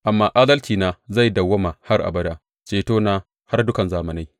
Amma adalcina zai dawwama har abada, cetona har dukan zamanai.